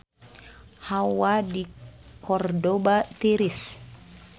Hawa di Kordoba tiris